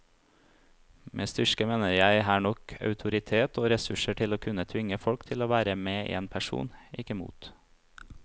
Med styrke mener jeg her nok autoritet og ressurser til å kunne tvinge folk til å være med en person, ikke mot.